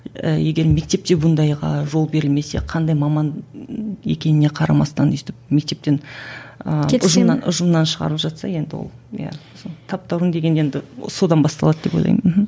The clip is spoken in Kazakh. і егер мектепте бұндайға жол берілмесе қандай маман екеніне қарамастан өстіп мектептен ы ұжымнан ұжымнан шығарып жатса енді ол иә таптауырын деген енді содан басталады деп ойлаймын мхм